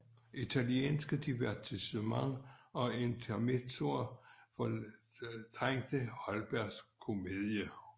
Italienske divertissements og intermezzoer fortrængte Holbergs komedier